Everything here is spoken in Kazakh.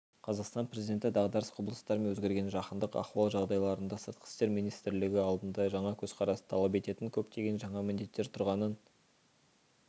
қазақстан президенті дағдарыс құбылыстары мен өзгерген жаһандық ахуал жағдайында сыртқы істер министрлігі алдында жаңа көзқарасты талап ететін көптеген жаңа міндеттер тұрғанын